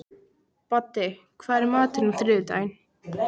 Baddi, hvað er í matinn á þriðjudaginn?